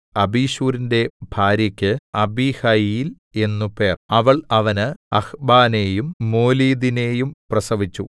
അബിശൂരിന്റെ ഭാര്യക്ക് അബീഹയീൽ എന്നു പേർ അവൾ അവന് അഹ്ബാനെയും മോലീദിനെയും പ്രസവിച്ചു